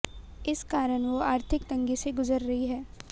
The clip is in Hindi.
इस कारन वो आर्थिक तंगी से गुजर रही है